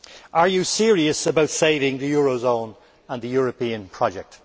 Are you serious about saving the eurozone and the European project?